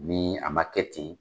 Ni a ma kɛ ten.